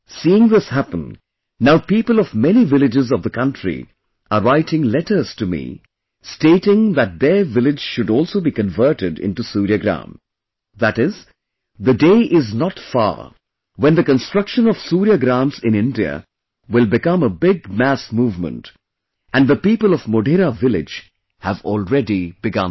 Seeing this happen, now people of many villages of the country are writing letters to me stating that their village should also be converted into Surya Gram, that is, the day is not far when the construction of Suryagrams in India will become a big mass movement and the people of Modhera village have already begun that